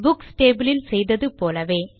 books table ல் செய்தது போலவே